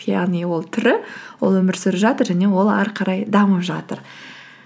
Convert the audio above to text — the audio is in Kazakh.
яғни ол тірі ол өмір сүріп жатыр және ол ары қарай дамып жатыр